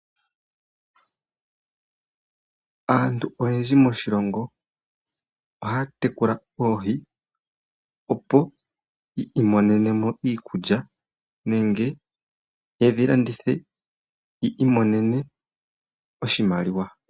Aantu oyendji moshilongo ohaya tekula oohi opo yi imonene mo iikulya nenge yedhi landithe yi imonene oshimaliwa.